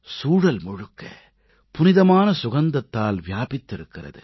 சூழல் முழுக்க புனிதமான சுகந்தத்தால் வியாபித்திருக்கிறது